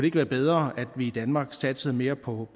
ikke være bedre at vi i danmark satsede mere på